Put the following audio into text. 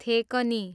थेकनी